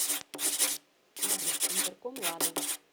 адрес интерком лада